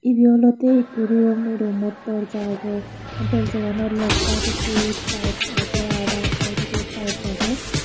ebe olodey ikko rum ey rummot dorja agey dorjaganot left saaidodi taels agey aa raet saaidodiyo taels agey.